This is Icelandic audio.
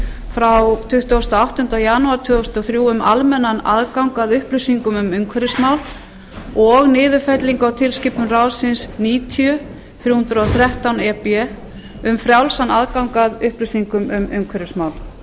frá tuttugasta og áttundi janúar tvö þúsund og þrjú um almennan aðgang að upplýsingum um umhverfismál og niðurfellingu á tilskipun ráðsins níutíu þrjú hundruð og þrettán e b um frjálsan aðgang að upplýsingum um umhverfismál